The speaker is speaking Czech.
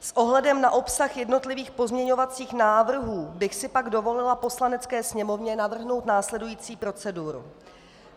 S ohledem na obsah jednotlivých pozměňovacích návrhů bych si pak dovolila Poslanecké sněmovně navrhnout následující proceduru.